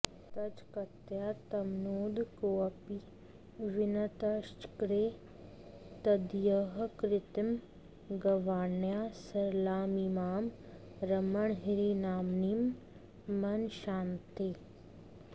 तच्छक्त्या तमनूद्य कोऽपि विनतश्चक्रे तदीयः कृतिं गैर्वाण्या सरलामिमां रमणहृन्नाम्नीं मनश्शान्तये